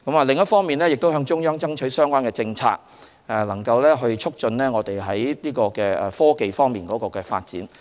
另一方面，我們亦向中央爭取相關的政策，促進在科技方面的發展。